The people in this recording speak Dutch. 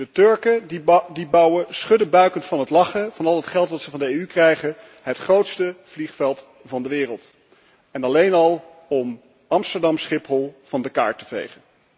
De Turken bouwen, schuddebuikend van het lachen, van al het geld dat ze van de EU krijgen, het grootste vliegveld van de wereld, alleen al om Amsterdam Schiphol van de kaart vegen.